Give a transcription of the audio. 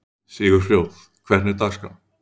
Sigurfljóð, hvernig er dagskráin?